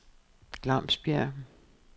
Glamsbjerg